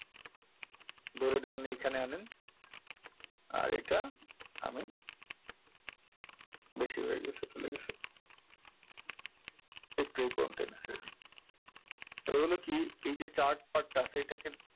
ধরে ধরুন এইখানে আনেন আর এটা আমি বেশি হয়ে গেছে চলে গেছে এইতো এই পর্যন্ত এনে ছেড়ে দিন এবারে হলো কি এইযে chart part টা আছে এটাকে,